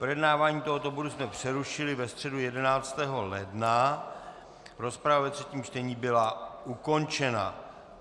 Projednávání tohoto bodu jsme přerušili ve středu 11. ledna, rozprava ve třetím čtení byla ukončena.